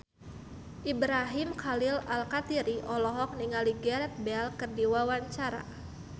Ibrahim Khalil Alkatiri olohok ningali Gareth Bale keur diwawancara